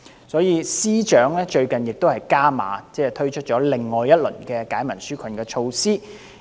所以，司長最近加碼，推出另一輪利民紓困措施。